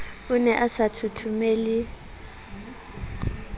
o ne a sa thothomele